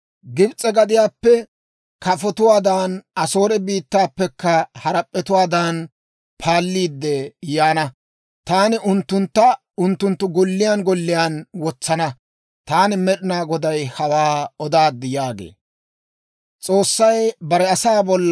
Gibs'e gadiyaappe kafotuwaadan, Asoore biittaappekka harap'p'etuwaadan, paalliidde yaana. Taani unttuntta unttunttu golliyaan golliyaan wotsana. Taani Med'inaa Goday hawaa odaad» yaagee.